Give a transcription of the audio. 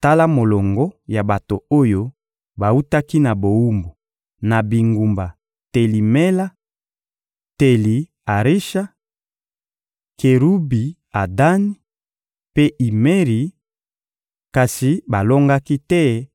Tala molongo ya bato oyo bawutaki na bowumbu, na bingumba Teli-Mela, Teli-Arisha, Kerubi-Adani mpe Imeri, kasi balongaki te